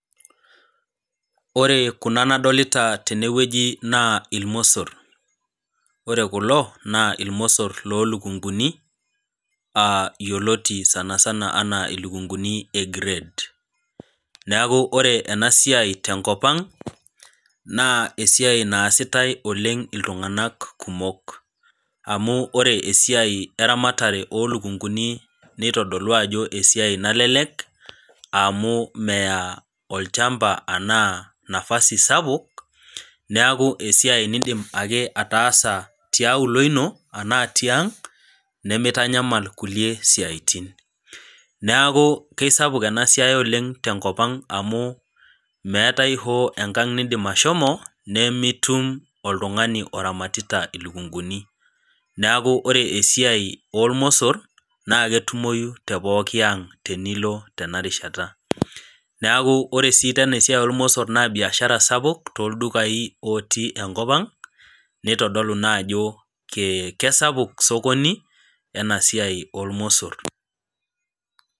Ore kuna nadolita tene wueji naa ilmosor, ore kulo naa ilmosor loo ilukung'uni, aa yioloti sanisana ana ilukunguni e grade naa ore ena siai te enkop ang' naa esiai naasitai oleng' iltung'ana kumok. Amu ore esiai eramatare o ilukunguni, neitodolua ajo esiai nalelek, amu meyaa olchamba anaa nafasi sapuk, neaku esiai ake niindim ataasa tiaulo ino anaa tiang', nemeitanyamal kulie siatin. Neaku kesapuk ena siai naleng' te enkop ang' amu meatai hoo enkang' niindim ashomo, nimitum oltung'ani oramatita ilukung'uni, neaku ore esiai olmosor, naa ketumoi te pooki aang' tinilo tena rishata. Neaku ore sii teena esiai oolmosor naa biashara sapuk tooldukai otii enkop ang' neitodolu naa ajo kesapuk sokoni, ena siai oolmosor.